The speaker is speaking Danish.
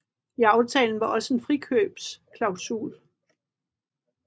I aftalen var også en frikøbsklasul